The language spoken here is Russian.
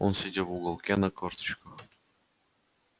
он сидел в уголке на корточках